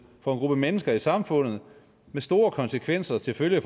for en gruppe mennesker i samfundet med store konsekvenser til følge